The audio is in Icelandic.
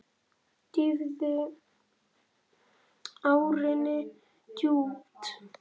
Dýfði árinni djúpt.